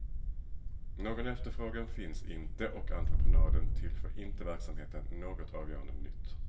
Någon efterfrågan finns inte och entreprenaden tillför inte verksamheten något avgörande nytt.